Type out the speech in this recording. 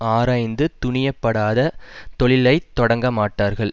ஆராய்ந்து துணியப்படாத தொழிலைத் தொடங்க மாட்டார்கள்